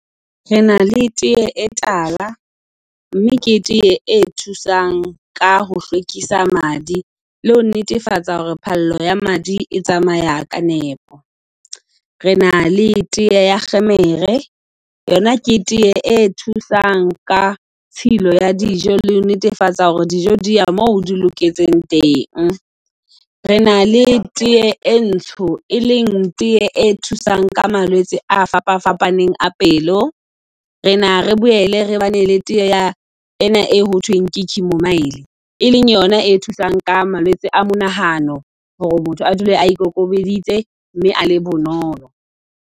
Re na le tee e tala, mme ke tee e thusang ka ho hlwekisa madi le ho netefatsa hore phallo ya madi e tsamaya ka nepo. Re na le tee ya kgemere, yona ke tee e thusang ka tshilo ya dijo le ho netefatsa hore dijo diya mo di loketseng teng. Re na le tee e ntsho, e leng tee e thusang ka malwetse a fapafapaneng a pelo. Re na re boele re bane le tee ya ena e hothweng ke chamomile-e, e leng yona e thusang ka malwetse a monahano hore motho a dule a ikokobeditse mme a le bonolo.